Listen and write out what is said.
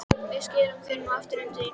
Við skilum þér nú aftur heim til þín.